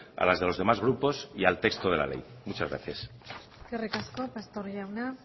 a las de los demás grupos y al texto de la ley muchas gracias eskerrik asko pastor jauna